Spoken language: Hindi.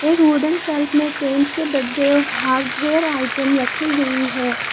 एक वुडन सेल्फ में पेंट के डब्बे और हार्डवेयर आइटम रखी गई है।